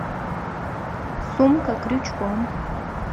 сумка крючком